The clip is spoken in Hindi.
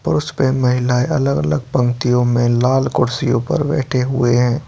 पुरुष व महिलाए अलग- अलग पंक्तियों में लाल कुर्सियों पे बैठे हुए हैं |